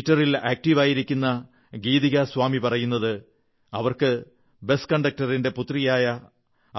ട്വിറ്ററിൽ ആക്ടീവായിരിക്കുന്ന ഗീതികാ സ്വാമി പറയുന്നത് അവർക്ക് ബസ് കണ്ടക്ടറിന്റെ പുത്രിയായ